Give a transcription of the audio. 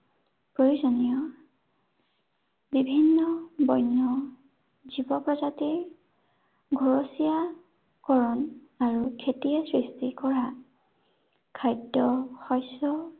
প্ৰয়োজনীয় বিভিন্ন, বন্য়, জীৱ প্ৰজাতিৰ, ঘৰচীয়াকৰন আৰু খেতিয়ে সৃষ্টি কৰা খাদ্য় শস্য়